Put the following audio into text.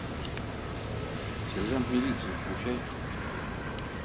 сержант милиции включай